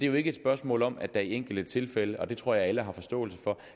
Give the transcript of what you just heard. jo ikke et spørgsmål om at der i enkelte tilfælde og det tror jeg alle har forståelse for